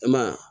I ma ye wa